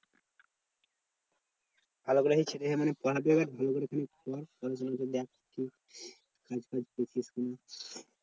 ভালো করে ধর খেললে মানে